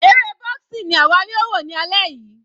Eré boxing ni àwa yóò wò ní alẹ́ yìí.